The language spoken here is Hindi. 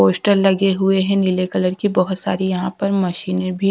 पोस्टर लगे हुए हैं नीले कलर की बहोत सारी यहां पर मशीने भी--